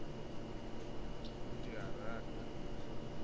ke o rata ke tiile